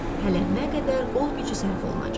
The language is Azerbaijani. Hələ nə qədər qol gücü sərf olunacaq.